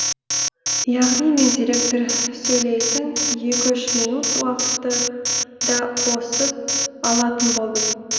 яғни мен директор сөйлейтін екі үш минут уақытты да қосып алатын болдым